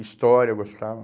História eu gostava.